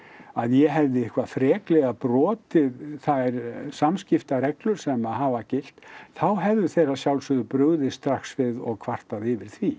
að ég hefði eitthvað freklega brotið þær samskiptareglur sem að hafa gilt þá hefðu þeir að sjálfsögðu brugðist strax við og kvartað yfir því